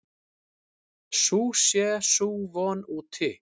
Sú sé sú von úti.